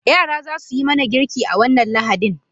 Yara za su yi mana girki a wannan Lahadin.